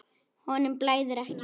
Honum blæðir ekki.